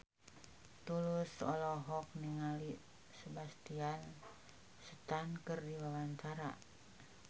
Tulus olohok ningali Sebastian Stan keur diwawancara